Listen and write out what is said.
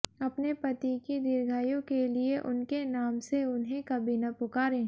अपने पति की दीर्घायु के लिए उनके नाम से उन्हें कभी न पुकारें